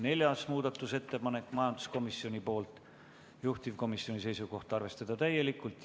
Neljaski muudatusettepanek on majanduskomisjonilt, juhtivkomisjoni seisukoht on arvestada seda täielikult.